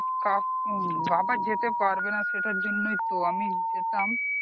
কা বাবা যেতে পারবেনা সেটার জন্যই তো আমি যেতাম